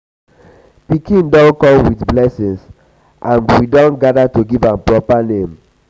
pikin don come um with blessing and we don gather to give am proper name. um